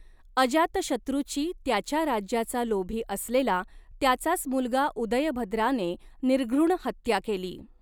अजातशत्रूची त्याच्या राज्याचा लोभी असलेला त्याचाच मुलगा उदयभद्राने निर्घृण हत्या केली.